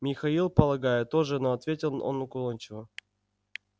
михаил полагаю тоже но ответил он уклончиво